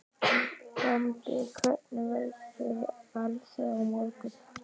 Bambi, hvernig verður veðrið á morgun?